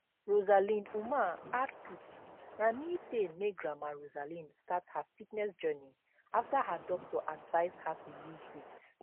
rosalind umar add put na knee pain make grandma rosalind start her fitness journey afta her doctor advise her to lose weight